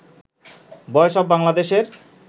বয়েস অব বাংলাদেশের